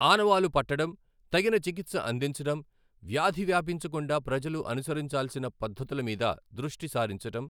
ఆనవాలు పట్టటం, తగిన చికిత్స అందించడం , వ్యాధి వ్యాపించకుండా ప్రజలు అనుసరించాల్సిన పద్ధతుల మీద దృష్టి సారించటం,